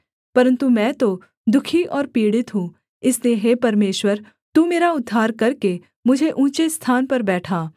परन्तु मैं तो दुःखी और पीड़ित हूँ इसलिए हे परमेश्वर तू मेरा उद्धार करके मुझे ऊँचे स्थान पर बैठा